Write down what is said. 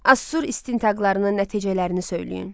Asur isintaqlarının nəticələrini söyləyin.